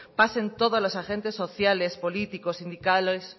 pasen todos los agentes sociales políticos